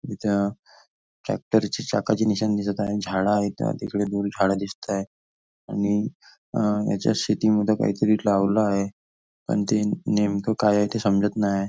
इथ ट्रॅक्टर ची चाकाचे निशाण दिसत आहे झाड आहेत इथ तिकडे दोन झाड दिसत आहे आणि ह्याच्या शेतीमध्ये काहीतरी लावलं आहे पण नेमक काय आहे ते समजत नाही आहे.